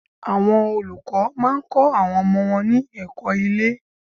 Àwọn olùkọ́ má a ń kó àwọn ọmọ wọn ní èkó ilé